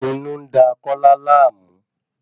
Inú ń da Kọla láàmú.